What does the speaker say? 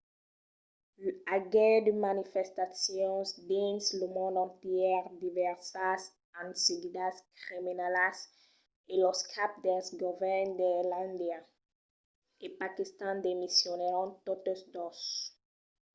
i aguèt de manifestacions dins lo mond entièr divèrsas enseguidas criminalas e los caps dels govèrns d'islàndia e paquistan demissionèron totes dos